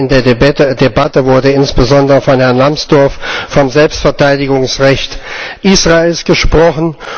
Gestern in der Debatte wurde insbesondere von Herrn Lambsdorff vom Selbstverteidigungsrecht Israels gesprochen.